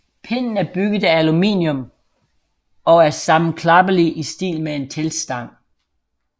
Pinden er bygget af aluminium og er sammenklappelig i stil med en teltstang